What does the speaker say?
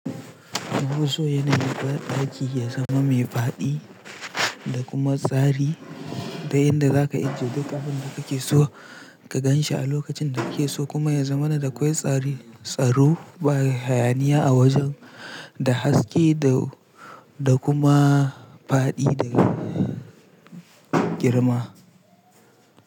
Ban son yana yi kar ɗaki ya zama mai faɗi da kuma tsari da inda za ka ajiye duk abin da kake so ka gan shi a lokacin da kike so kuma ya zama ina da kwai tsari, tsaro, hayaniya a wajen da haske da kuma faɗi da girma.